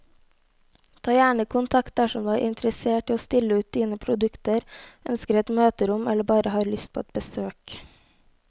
Ta gjerne kontakt dersom du er interessert i å stille ut dine produkter, ønsker et møterom eller bare har lyst på et besøk.